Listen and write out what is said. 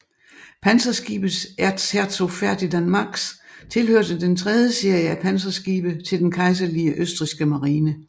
Panserskibet Erzherzog Ferdinand Max tilhørte den tredje serie af panserskibe til den kejserlige østrigske marine